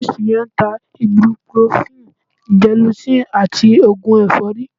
Chemist yẹn ń ta ibuprofen, gelocin àti oògùn ẹ̀fọ́rí